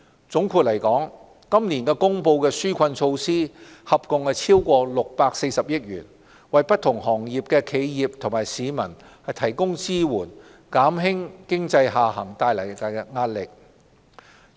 總括而言，今年公布的紓困措施合共超過640億元，為不同行業的企業和市民提供支援，減輕經濟下行造成的壓力。